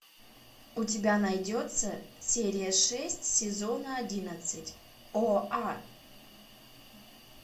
у тебя найдется серия шесть сезона одиннадцать оа